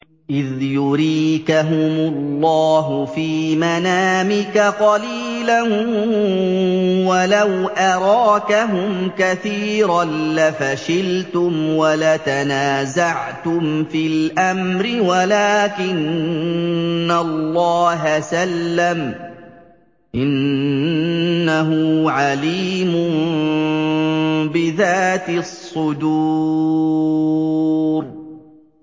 إِذْ يُرِيكَهُمُ اللَّهُ فِي مَنَامِكَ قَلِيلًا ۖ وَلَوْ أَرَاكَهُمْ كَثِيرًا لَّفَشِلْتُمْ وَلَتَنَازَعْتُمْ فِي الْأَمْرِ وَلَٰكِنَّ اللَّهَ سَلَّمَ ۗ إِنَّهُ عَلِيمٌ بِذَاتِ الصُّدُورِ